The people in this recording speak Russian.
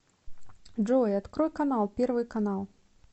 джой открой канал первый канал